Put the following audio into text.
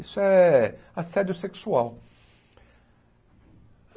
Isso é assédio sexual.